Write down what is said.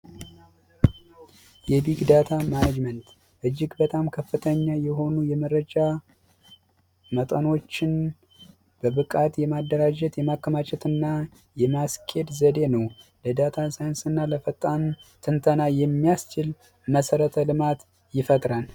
የቢግ ዳታ ማነጅመን እጅግ ከፍተኛ የሆኑ የመረጃ መጠኖችን በብቃት የማደራጀት ፣የማከማቸት እና የማስኬድ ዘዴ ነው ለዳታ ሳይንስ እና ለፈጣን ትንተና የሚያስችል መሰረተ ልማት ይፈጠራል።